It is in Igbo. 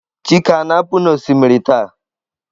chike a na-apu n'osimiri taa?